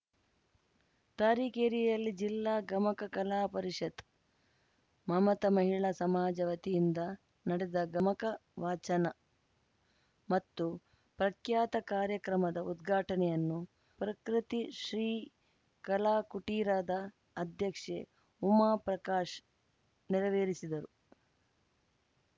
ತರೀಕೆರೆಯಲ್ಲಿ ಜಿಲ್ಲಾ ಗಮಕ ಕಲಾ ಪರಿಷತ್‌ ಮಮತ ಮಹಿಳಾ ಸಮಾಜ ವತಿಯಿಂದ ನಡೆದ ಗಮಕ ವಾಚನ ಮತ್ತು ಪ್ರಖ್ಯಾತ ಕಾರ್ಯಕ್ರಮದ ಉದ್ಘಾಟನೆಯನ್ನು ಪ್ರಕೃತಿಶ್ರೀ ಕಲಾ ಕುಟೀರದ ಅಧ್ಯಕ್ಷೆ ಉಮಾ ಪ್ರಕಾಶ್‌ ನೆರವೇರಿಸಿದರು